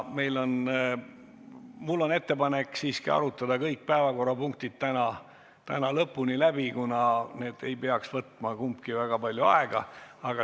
Mul on ettepanek siiski arutada kõik päevakorrapunktid täna lõpuni läbi, kuna kumbki neist ei peaks võtma väga palju aega.